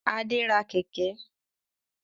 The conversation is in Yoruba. Adé ra Kẹ̀kẹ́